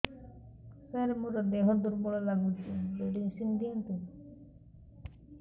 ସାର ମୋର ଦେହ ଦୁର୍ବଳ ଲାଗୁଚି ମେଡିସିନ ଦିଅନ୍ତୁ